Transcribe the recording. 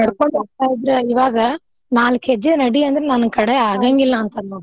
ನಡ್ಕೊಂಡ್ ಹೋಗ್ತಾ ಇದ್ರ ಇವಾಗ ನಾಲ್ಕ್ ಹೆಜ್ಜೆ ನಡಿ ಅಂದ್ರ ನನ್ನ್ ಕಡೆ ಅಂತಾರ್ ನೋಡ್.